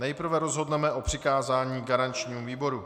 Nejprve rozhodneme o přikázání garančnímu výboru.